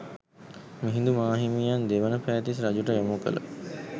මිහිඳු මාහිමියන් දෙවන පෑතිස් රජුට යොමු කළ